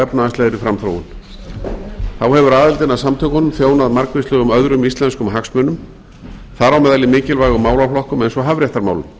efnahagslegri framþróun þá hefur aðildin að samtökunum þjónað margvíslegum öðrum íslenskum hagsmunum þar á meðal í mikilvægum málaflokkum eins og hafréttarmálum